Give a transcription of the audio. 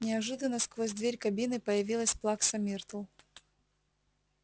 неожиданно сквозь дверь кабины появилась плакса миртл